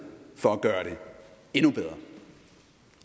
for at gøre det endnu bedre